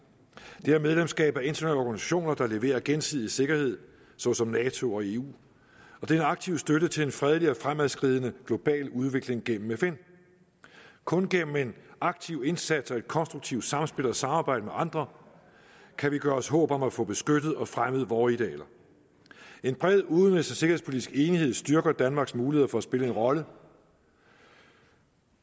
det er medlemskab af internationale organisationer der leverer gensidig sikkerhed såsom nato og eu og det er en aktiv støtte til en fredelig og fremadskridende global udvikling gennem fn kun gennem en aktiv indsats og et konstruktivt samspil og samarbejde med andre kan vi gøre os håb om at få beskyttet og fremmet vore idealer en bred udenrigs og sikkerhedspolitisk enighed styrker danmarks muligheder for at spille en rolle